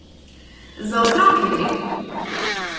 Za otroke gre!